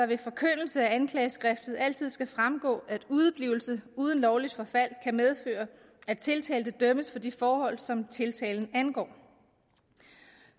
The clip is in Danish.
ved forkyndelse af anklageskriftet altid skal fremgå at udeblivelse uden lovligt forfald kan medføre at tiltalte dømmes for de forhold som tiltalen angår